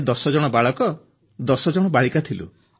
ଆମେ 10 ଜଣ ଯୁବକ 10 ଯୁବତୀ ଥିଲୁ